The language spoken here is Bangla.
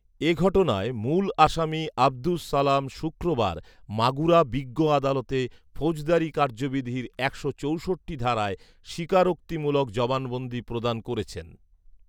এ ঘটনায় মূল আসামী আব্দুস সালাম শুক্রবার মাগুরা বিজ্ঞ আদালতে ফোজদারী কার্যবিধির একশো চৌষট্টি ধারায় স্বীকারোক্তি মূলক জবানবন্দি প্রদান করেছেন